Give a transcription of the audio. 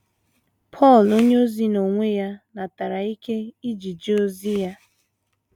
Pọl onyeozi n’onwe ya natara ike iji jee ozi ya.